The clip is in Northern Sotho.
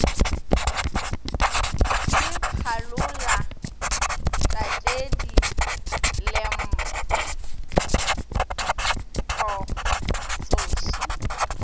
ke phalola tatedi lempo tsoši